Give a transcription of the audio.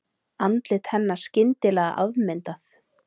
Andlit hennar skyndilega afmyndað.